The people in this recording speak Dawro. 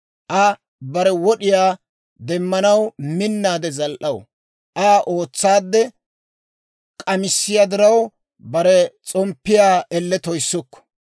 Aa bare wod'iyaa demmanaw minnaade zal"aw; Aa ootsaadde k'amissiyaa diraw, bare s'omppiyaa elle toyissukku.